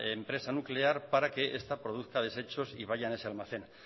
empresa nuclear para que esta produzca desechos y vayan a ese almacén